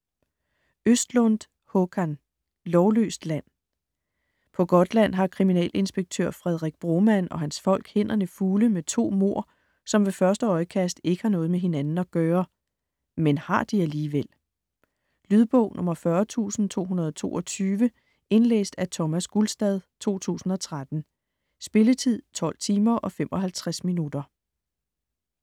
Östlundh, Håkan: Lovløst land På Gotland har kriminalinspektør Fredrik Broman og hans folk hænderne fulde med to mord, som ved første øjekast ikke har noget med hinanden at gøre. Men har de alligevel? Lydbog 40222 Indlæst af Thomas Gulstad, 2013. Spilletid: 12 timer, 55 minutter.